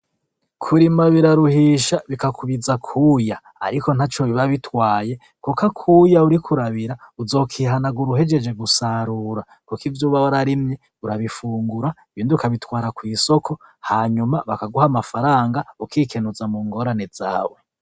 Kurima biraruhisha bikakubiza kuya, ariko nta co biba bitwaye, kuko akuya uri kurabira uzokihanagura uhejeje gusarura, kuko ivyo ubabe ararimye urabifungura binduka bitwara kw'isoko hanyuma bakaguha amafaranga ukikenuza mu ngorane zawe.